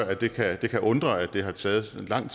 at det kan undre at det har taget så lang